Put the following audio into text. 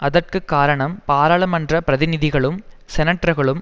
அதற்கு காரணம் பாராளுமன்ற பிரதிநிதிகளும் செனட்டர்களும்